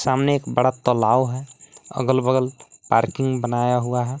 सामने एक बड़ा तलाव है अगल बगल पार्किंग बनाया हुआ है।